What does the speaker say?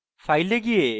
file এ যান